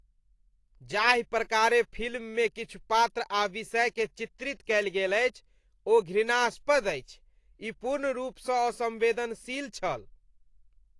जाहि प्रकारेँ फिल्ममे किछु पात्र आ विषयकेँ चित्रित कयल गेल अछि ओ घृणास्पद अछि। ई पूर्ण रूपसँ असम्वेदनशील छल।